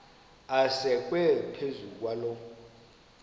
asekwe phezu kwaloo